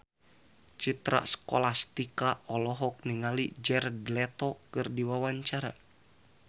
Citra Scholastika olohok ningali Jared Leto keur diwawancara